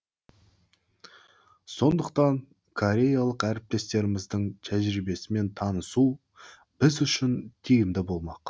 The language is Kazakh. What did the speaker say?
сондықтан кореялық әріптестеріміздің тәжірибесімен танысу біз үшін тиімді болмақ